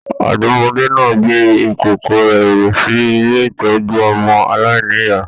Ọdọ́mọdẹ́ náà gbé ìkókó rẹ sí ilé ìtọjú ọmọ aláìníya.